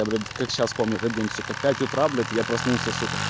я блять как сейчас помню этот день сука пять утра блять я проснулся сука